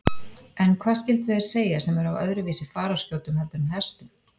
En hvað skyldu þeir segja sem eru á öðruvísi fararskjótum heldur en hestum?